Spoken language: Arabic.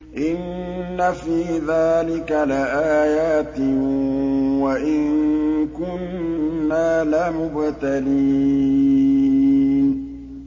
إِنَّ فِي ذَٰلِكَ لَآيَاتٍ وَإِن كُنَّا لَمُبْتَلِينَ